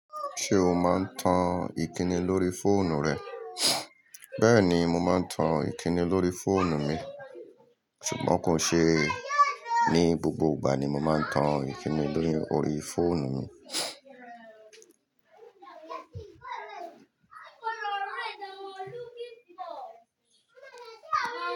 Ṣé o máa ń tan ìkíni lórí fóònù rẹ? Bẹ́ẹ̀ ni, mo máa ń tan ìkíni lórí fóònù mi, ṣùgbọ́n kò ṣe ní gbogbo ìgbà ni mo máa ń tan ìkíni lórí fóònù mi.